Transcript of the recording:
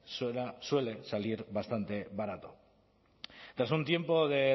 suele salir bastante barato tras un tiempo de